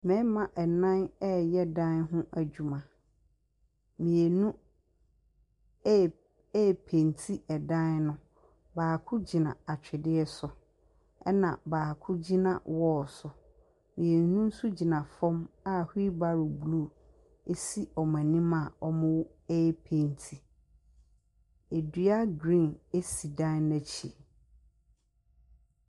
Mmarima nnan reyɛ dan ho adwuma. Mmienu re repenti dan no. Baako gyina atweredeɛ so, ɛna baako gyina wall so, mmienu nso gyina fam a wheel barrow blue si wɔn anim a wɔrepenti. Dua green si dan no akyi.